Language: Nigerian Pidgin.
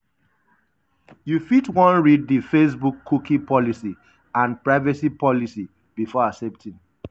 you fit wan read di facebookcookie policyandprivacy policybefore accepting.